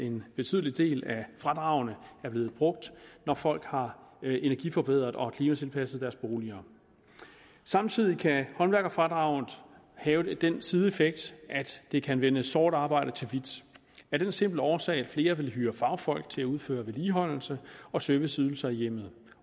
en betydelig del af fradragene er blevet brugt når folk har energiforbedret og klimatilpasset deres boliger samtidig kan håndværkerfradraget have den sideeffekt at det kan vende sort arbejde til hvidt af den simple årsag at flere vil hyre fagfolk til at udføre vedligeholdelse og serviceydelser i hjemmet